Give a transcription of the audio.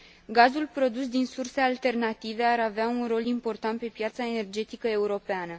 Gazul produs din surse alternative ar avea un rol important pe piața energetică europeană.